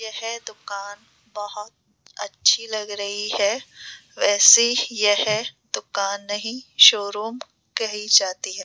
यह दुकान बहुत अच्छी लग रही है वैसे यह दुकान नहीं शोरूम कही जाती है।